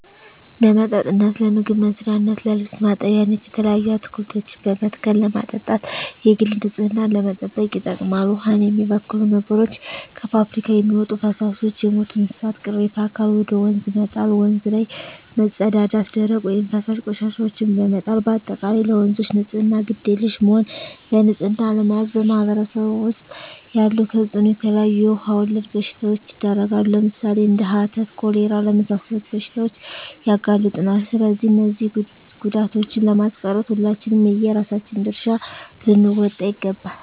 ለመጠጥነት ለምግብ መስሪያነት ለልብስ ማጠቢያነት የተለያዩ አትክልቶችን በመትከል ለማጠጣት የግል ንፅህናን ለመጠበቅ ይጠቅማል ዉሃን የሚበክሉ ነገሮች - ከፍብሪካ የሚወጡ ፈሳሾች - የሞቱ የእንስሳት ቅሬታ አካል ወደ ወንዝ መጣል - ወንዝ ላይ መፀዳዳት - ደረቅ ወይም ፈሳሽ ቆሻሻዎችን በመጣል - በአጠቃላይ ለወንዞች ንፅህና ግድ የለሽ መሆን በንፅህና አለመያዝ በማህበረሰቡ ዉስጥ ያለዉ ተፅእኖ - የተለያዩ የዉሃ ወለድ በሽታዎች ይዳረጋሉ ለምሳሌ፦ እንደ ሀተት፣ ኮሌራ ለመሳሰሉት በሽታዎች ያጋልጡናል ስለዚህ እነዚህን ጉዳቶችን ለማስቀረት ሁላችንም የየራሳችን ድርሻ ልንወጣ ይገባል